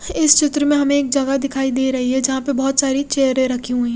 इस चित्र में हमे एक जगह दिखाई दे रही है जहा पे बोहोत सारी चेयरे रखी हुई है।